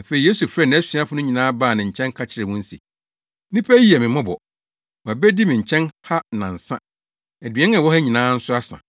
Afei Yesu frɛɛ nʼasuafo no nyinaa baa ne nkyɛn ka kyerɛɛ wɔn se, “Nnipa yi yɛ me mmɔbɔ. Wɔabedi me nkyɛn ha nnansa. Aduan a ɛwɔ ha nyinaa nso asa.